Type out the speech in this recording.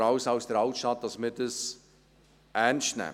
«Raus aus der Altstadt!», ernst nehmen.